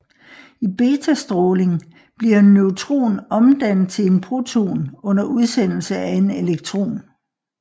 I betastråling bliver en neutron omdannet til en proton under udsendelse af en elektron